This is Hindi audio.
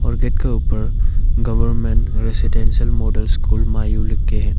और गेट के ऊपर गवर्नमेंट रेसिडेंशियल मॉडल स्कूल मायू लिख के है।